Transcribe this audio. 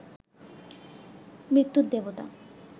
মৃত্যুর দেবতা